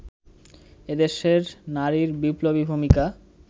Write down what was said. এদেশের নারীর বিপ্লবী ভূমিকা